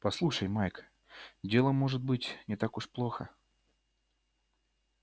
послушай майк дело может быть не так уж плохо